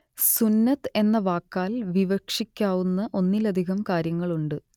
സുന്നത്ത് എന്ന വാക്കാൽ വിവക്ഷിക്കാവുന്ന ഒന്നിലധികം കാര്യങ്ങളുണ്ട്